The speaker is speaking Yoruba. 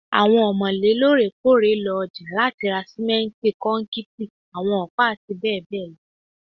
Awọn ọmọle loorekoore ọja lati ra simenti, kọnkiti, awọn ọpa, ati bẹbẹ lọ